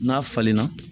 N'a falenna